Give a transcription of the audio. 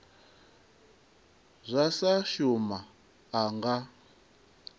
zwa sa shuma a nga